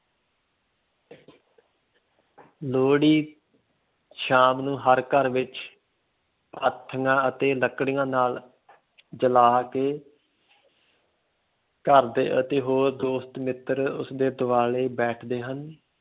ਲੋਹੜੀ ਸ਼ਾਮ ਨੂੰ ਹਰ ਘਰ ਵਿੱਚ ਪਾਥੀਆਂ ਅਤੇ ਲੱਕੜੀਆਂ ਨਾਲ ਜਲਾ ਕੇ ਘਰਦੇ ਅਤੇ ਹੋਰ ਦੋਸਤ ਮਿੱਤਰ ਉਸਦੇ ਦੁਆਲੇ ਬੈਠਦੇ ਹਨ